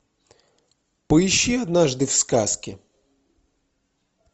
поищи однажды в сказке